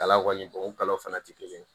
Kala kɔni o kalaw fana tɛ kelen ye